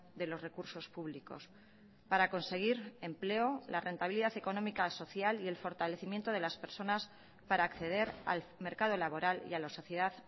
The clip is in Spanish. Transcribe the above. de los recursos públicos para conseguir empleo la rentabilidad económica social y el fortalecimiento de las personas para acceder al mercado laboral y a la sociedad